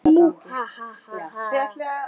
Ha, ha, ha!